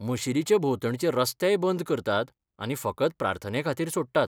मशीदीचे भोंवतणचे रस्तेय बंद करतात आनी फकत प्रार्थनेखातीर सोडटात.